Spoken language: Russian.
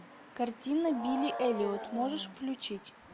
картина билли эллиот можешь включить